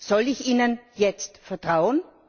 Soll ich Ihnen jetzt vertrauen?